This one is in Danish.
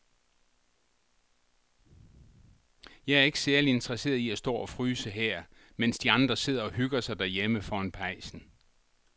Jeg er ikke særlig interesseret i at stå og fryse her, mens de andre sidder og hygger sig derhjemme foran pejsen.